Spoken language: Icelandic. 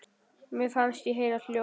Mér fannst ég heyra hljóð.